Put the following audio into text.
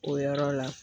O yɔrɔ la